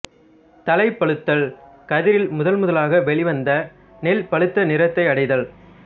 தலைப்பழுத்தல் கதிரில் முதன்முதலாக வெளிவந்த நெல் பழுத்த நிறத்தை அடைதல்